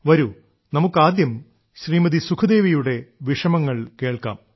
വരൂ നമുക്ക് ആദ്യം ശ്രീമതി സുഖ്ദേവിയുടെ വിഷമങ്ങൾ കേൾക്കാം